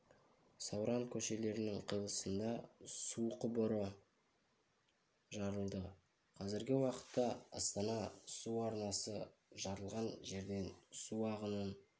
сауран көшелерінің қиылысында су құбыры жарылды қазіргі уақытта астана су арнасы жарылған жерден су ағынын